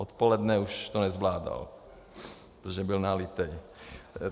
Odpoledne už to nezvládal, protože byl nalitý.